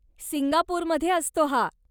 सिंगापूरमध्ये असतो हा.